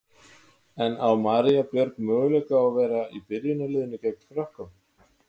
En á María Björg möguleika á að vera í byrjunarliðinu gegn Frökkum?